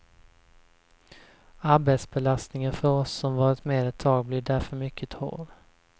Arbetsbelastningen för oss som varit med ett tag blir därför mycket hård.